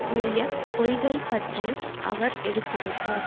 கூறிய பொய்கள் பற்றியும் அவர் எடுத்துரைத்தார்